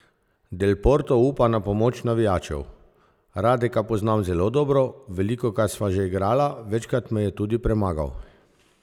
Del Potro upa na pomoč navijačev: "Radeka poznam zelo dobro, velikokrat sva že igrala, večkrat me je tudi premagal.